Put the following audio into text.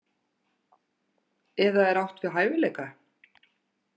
Eða er átt við hæfileika?